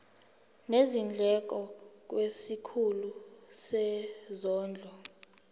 nezindleko kwisikhulu sezondlo